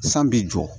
San b'i jɔ